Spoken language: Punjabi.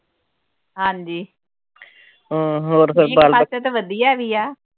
ਹਾਂਜੀ ਖਰੀਫ ਵਾਸਤੇ ਤਾਂ ਵਧੀਆ ਹੈਗੀ ਆ